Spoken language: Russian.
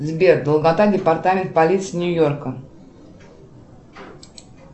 сбер долгота департамент полиции нью йорка